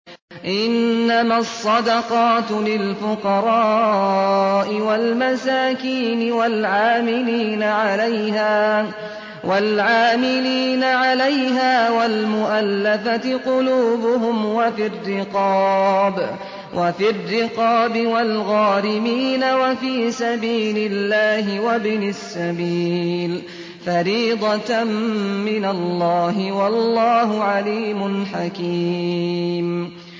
۞ إِنَّمَا الصَّدَقَاتُ لِلْفُقَرَاءِ وَالْمَسَاكِينِ وَالْعَامِلِينَ عَلَيْهَا وَالْمُؤَلَّفَةِ قُلُوبُهُمْ وَفِي الرِّقَابِ وَالْغَارِمِينَ وَفِي سَبِيلِ اللَّهِ وَابْنِ السَّبِيلِ ۖ فَرِيضَةً مِّنَ اللَّهِ ۗ وَاللَّهُ عَلِيمٌ حَكِيمٌ